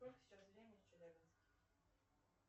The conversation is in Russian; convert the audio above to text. сколько сейчас времени в челябинске